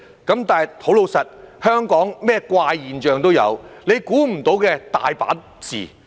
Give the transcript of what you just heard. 不過，老實說，香港甚麼怪現象都有，估不到的情況多的是。